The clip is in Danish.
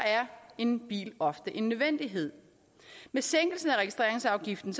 en bil ofte en nødvendighed med sænkelsen af registreringsafgiften